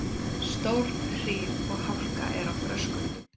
Stórhríð og hálka er á Þröskuldum